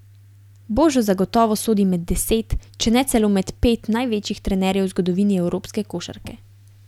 Božo zagotovo sodi med deset, če ne celo med pet, največjih trenerjev v zgodovini evropske košarke.